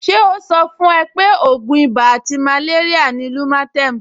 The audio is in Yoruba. Ṣé ó sọ fún ẹ pé ògùn ibà àti màléríà ni Lumatem